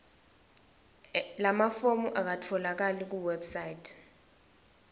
lamafomu akatfolakali kuwebsite